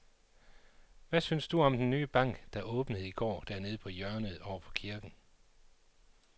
Hvad synes du om den nye bank, der åbnede i går dernede på hjørnet over for kirken?